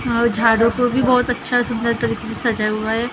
और झाड़ों को भी बहुत अच्छे सुंदर तरीके से सजाया हुआ है और --